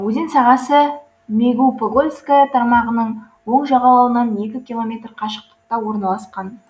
өзен сағасы мегипугольская тармағының оң жағалауынан екі километр қашықтықта орналасқан